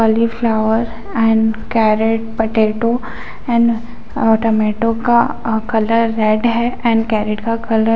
--cauliflower and carrot potato and uh tomato का uh colour red है and carrot का colour --